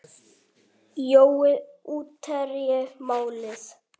Jói útherji málið?